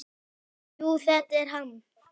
Jú, þetta er hann.